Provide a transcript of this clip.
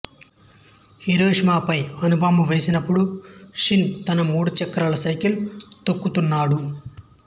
హీరోషీమాపై అణుబాంబు వేసినప్పుడు షిన్ తన మూడు చక్రాల సైకిల్ తొక్కుతున్నాడు